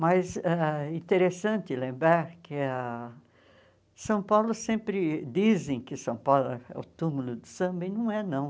Mas é interessante lembrar que ah São Paulo, sempre dizem que São Paulo é o túmulo do samba, e não é não.